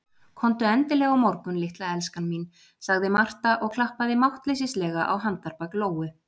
Komdu endilega á morgun, litla elskan mín, sagði Marta og klappaði máttleysislega á handarbak Lóu.